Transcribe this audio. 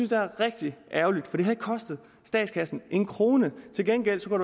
jeg er rigtig ærgerligt for det havde ikke kostet statskassen en krone til gengæld kunne